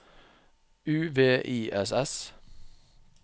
U V I S S